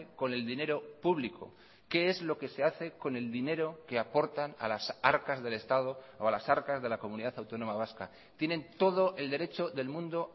con el dinero público qué es lo que se hace con el dinero que aportan a las arcas del estado o a las arcas de la comunidad autónoma vasca tienen todo el derecho del mundo